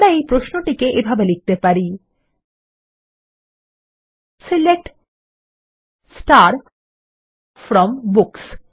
আমরা এই প্রশ্নটিকে এভাবে লিখতে পারি সিলেক্ট ফ্রম বুকস